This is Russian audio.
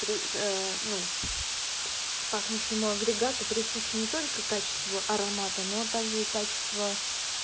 при ну пахнущему агрегату присущи не только качество аромата но также и качество